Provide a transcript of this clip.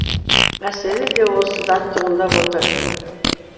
мәселе де осыдан туындап отыр